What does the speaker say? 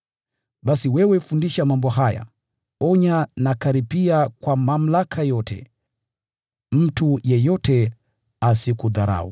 Basi wewe fundisha mambo haya. Onya na kukaripia kwa mamlaka yote. Mtu yeyote asikudharau.